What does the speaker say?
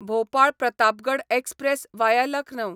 Bhopal Pratapgarh express via Lucknow